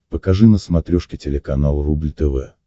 покажи на смотрешке телеканал рубль тв